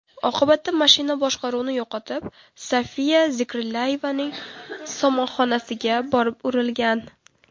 Oqibatda mashina boshqaruvni yo‘qotib, Sofiya Zikrillayevaning somonxonasiga borib urilgan.